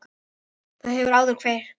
Það hefur áður virkað.